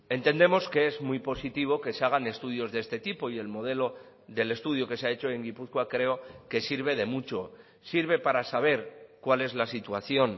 entendemos que es muy positivo que se hagan estudios de este tipo y el modelo del estudio que se ha hecho en gipuzkoa creo que sirve de mucho sirve para saber cuál es la situación